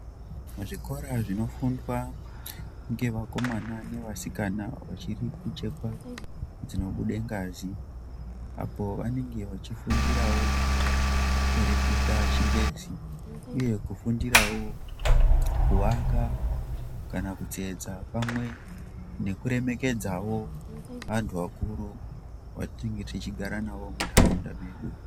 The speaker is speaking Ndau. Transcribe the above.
Zvikora zvinofundwa ngevakomana nevasikana vachiri kuchekwa dzinobude ngazi apo vanenge vachifundirawo kureketa chingezi uye kufundirawo kuvaka kana kutetsa pamwe nekuremekedzawo vantu vakuru vatinenge tichigara nawo muntaraunda medu.